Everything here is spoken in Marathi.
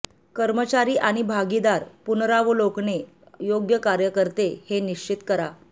कर्मचारी आणि भागीदार पुनरावलोकने योग्य कार्य करते हे निश्चित करा